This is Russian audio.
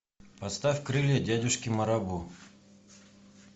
поставь крылья дядюшки марабу